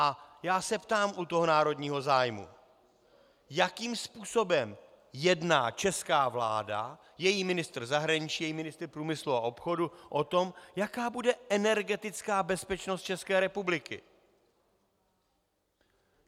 A já se ptám u toho národního zájmu, jakým způsobem jedná česká vláda, její ministr zahraničí, její ministr průmyslu a obchodu o tom, jaká bude energetická bezpečnost České republiky.